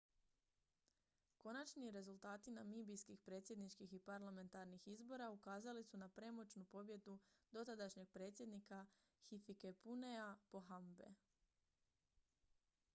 konačni rezultati namibijskih predsjedničkih i parlamentarnih izbora ukazali su na premoćnu pobjedu dotadašnjeg predsjednika hifikepunyea pohambe